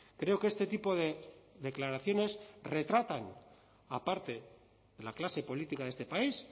creo que este tipo de declaraciones retratan aparte la clase política de este país